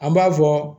An b'a fɔ